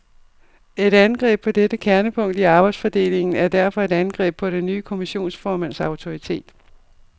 Et angreb på dette kernepunkt i arbejdsfordelingen er derfor et angreb på den nye kommissionsformands autoritet.